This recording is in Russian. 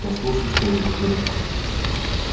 послушай что я тебе скажу